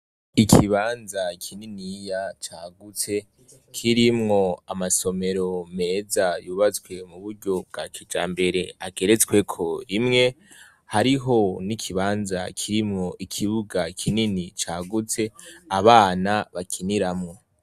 Ikibanza kininiya cagutse kirimwo amasomero meza yubatswe muburyo bwakijambere ageretsweko rimwe hariho nikibanza kirimwo ikibuga cagutse abana bakiniramwo